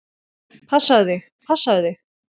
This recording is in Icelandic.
Passaðu þig, passaðu þig!